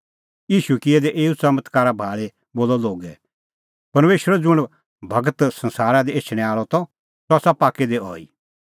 ईशू किऐ दै एऊ च़मत्कारा भाल़ी बोलअ लोगै परमेशरो ज़ुंण गूर संसारा दी एछणैं आल़अ त सह आसा पाक्कै दी अहैई